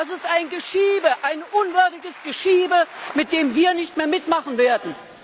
Das ist ein Geschiebe, ein unwürdiges Geschiebe, bei dem wir nicht mehr mitmachen werden!